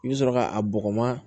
I bɛ sɔrɔ k'a bɔgɔma